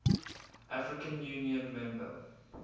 african union member